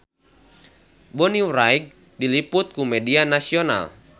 Bonnie Wright diliput ku media nasional